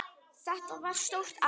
Þetta var stórt ár.